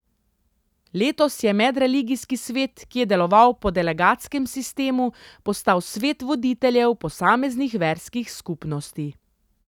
Letos je medreligijski svet, ki je deloval po delegatskem sistemu, postal svet voditeljev posameznih verskih skupnosti.